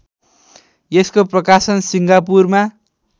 यसको प्रकाशन सिङ्गापुरमा